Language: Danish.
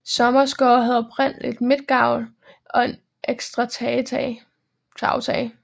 Sommers gård havde oprindeligt midtgavl og en ekstra tagetage